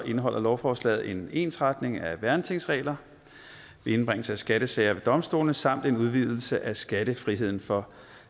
indeholder lovforslaget en ensretning af værnetingsregler ved indbringelse af skattesager for domstolene samt en udvidelse af skattefriheden for